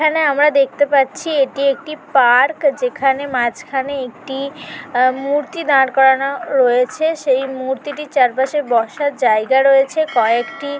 এখানে আমরা দেখতে পাচ্ছি এটি একটি পার্ক যেখানে মাঝখানে একটি আ মূর্তি দাঁড় করানো রয়েছে সেই মূর্তি চারপাশের বসার জায়গা রয়েছে কয়েকটি ।